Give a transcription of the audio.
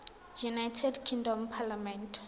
united kingdom parliament